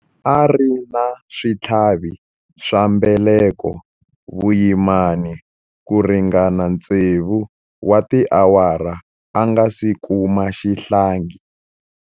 A ri na switlhavi swa mbeleko vuyimani ku ringana tsevu wa tiawara a nga si kuma xihlangi.